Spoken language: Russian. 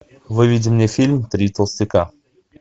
выведи мне фильм три толстяка